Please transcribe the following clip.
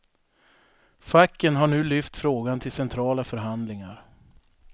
Facken har nu lyft frågan till centrala förhandlingar.